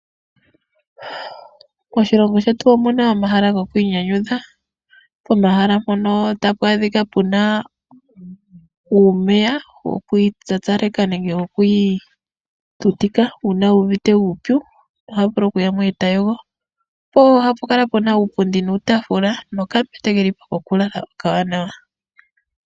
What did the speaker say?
Moshilongo shetu omuna omahala gokwiinyanyudha pomahala mpono tapu adhika puna uumeya wokwiitsatsaleka nenge wokwiitutika uuna wu uvite uupyu oto vulu kuyamo eto yogo po ohapu kala puna uupundi nuutafula nokambete keli po ko kulala okawanawa.